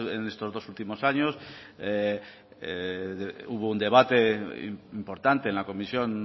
en estos dos últimos años hubo un debate importante en la comisión